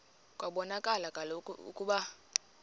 kwabonakala kaloku ukuba